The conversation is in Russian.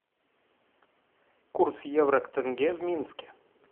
курс евро к тенге в минске